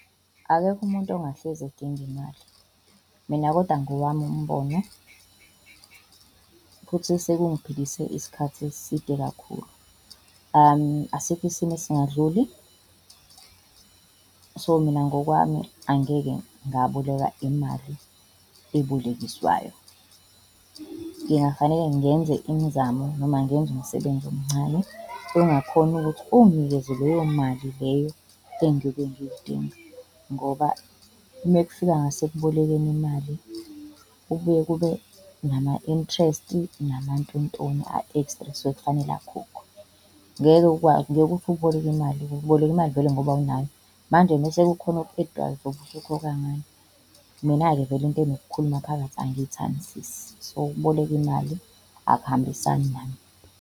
Akekho umuntu ongahlezi edinga imali. Mina kodwa ngowami umbono, futhi sekungiphilise isikhathi eside kakhulu, asikho isimo esingadluli. So mina ngokwami angeke ngaboleka imali ebolekiswayo. Ngingafanele ngenze imizamo noma ngenze umsebenzi omncane ongakhona ukuthi unginikeze leyo mali leyo engiyobe ngiyidinga ngoba mekufika ngasekubolekeni imali, kubuye kube nama-interest namantontoni a-extra ekusuke kufanele akhokhwe. Ngeke ngeke uthi uboleka imali uboleka imali vele ngoba vele awunayo. Manje mese kukhona oku-add-wayo uzobe usukhokha ngani? Mina-ke vele into enokukhuluma phakathi angiyithandisisi, so ukuboleka imali akuhambisani nami.